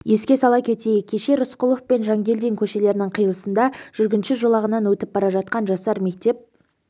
еске сала кетейік кеше рысқұлов пен жангелдин көшелерінің қиылысында жүргінші жолағынан өтіп бара жатқан жасар мектеп